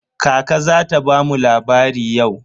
Kaka za ta bamu labari yau?